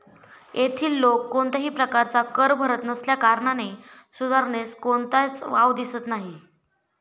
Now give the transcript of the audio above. येथील लोक कोणत्याही प्रकारचा कर भरत नसल्या कारणाने सुधारणेस कोणताच वाव दिसत नाही.